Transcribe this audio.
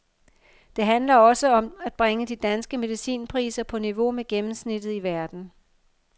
Det handler også om at bringe de danske medicinpriser på niveau med gennemsnittet i verden.